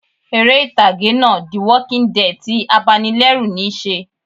Eré ìtàgé náà "the walking dead" ti abanilẹ́rù níí se